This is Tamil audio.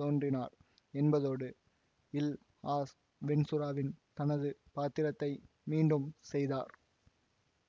தோன்றினார் என்பதோடு இல் ஆஸ் வென்ச்சுராவில் தனது பாத்திரத்தை மீண்டும் செய்தார்